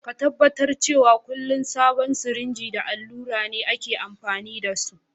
Ka tabatar cewa kullum sabon sirinji da allura ne aka amfani da su.